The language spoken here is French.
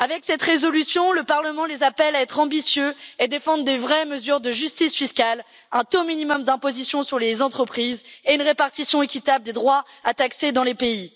Avec cette résolution, le Parlement les appelle à être ambitieux et à défendre des vraies mesures de justice fiscale, un taux minimum d'imposition sur les entreprises et une répartition équitable des droits à taxer dans les pays.